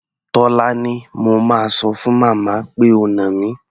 Tólání, mo máa sọ fún màmá pé o nà mí.